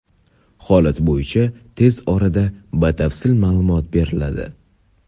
Holat bo‘yicha tez orada batafsil ma’lumot beriladi.